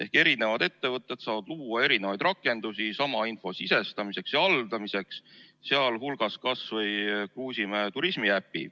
Ehk erinevad ettevõtted saavad luua erinevaid rakendusi, sealhulgas kas või Kruusimäe turismiäpi sama info sisestamiseks ja haldamiseks.